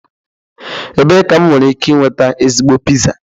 Ebee ka m nwere ike nweta ezigbo pizza?